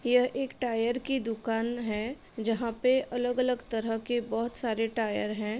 यह एक टायर की दुकान है जहाँ पे अलग-अलग तरह के बहुत सारे टायर हैं।